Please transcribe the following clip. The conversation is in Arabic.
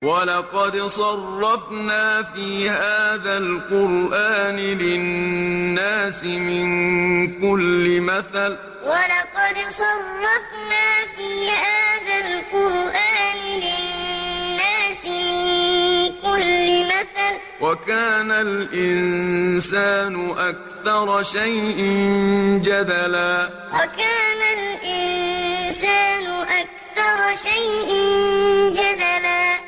وَلَقَدْ صَرَّفْنَا فِي هَٰذَا الْقُرْآنِ لِلنَّاسِ مِن كُلِّ مَثَلٍ ۚ وَكَانَ الْإِنسَانُ أَكْثَرَ شَيْءٍ جَدَلًا وَلَقَدْ صَرَّفْنَا فِي هَٰذَا الْقُرْآنِ لِلنَّاسِ مِن كُلِّ مَثَلٍ ۚ وَكَانَ الْإِنسَانُ أَكْثَرَ شَيْءٍ جَدَلًا